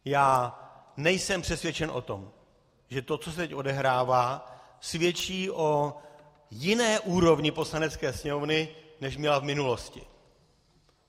Já nejsem přesvědčen o tom, že to, co se teď odehrává, svědčí o jiné úrovni Poslanecké sněmovny, než měla v minulosti.